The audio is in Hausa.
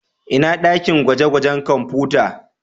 Ina dakin gwaje-gwajen kwamfuta?